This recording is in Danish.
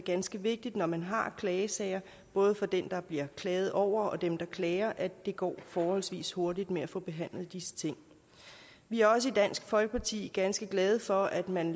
ganske vigtigt når man har klagesager både for den der bliver klaget over og dem der klager at det går forholdsvis hurtigt med at få behandlet disse ting vi er også i dansk folkeparti ganske glade for at man